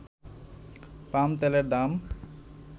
পাম তেলের দাম